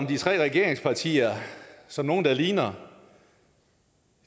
de tre regeringspartier som nogen der ligner